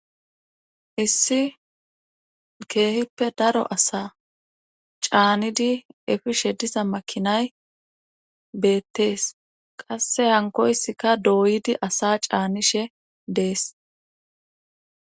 Issi keehippe daro asa caanidi efi shedisa makinay beettees qasse hankoysika dooyidi asa caanishe dees.